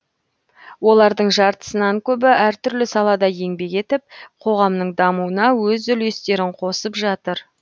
олардың жартысынан көбі әртүрлі салада еңбек етіп қоғамның дамуына өз үлестерін қосып жатыр